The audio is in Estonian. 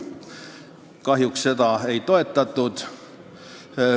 Kahjuks seda ei toetatud.